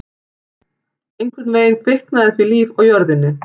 Einhvern veginn kviknaði því líf á jörðinni.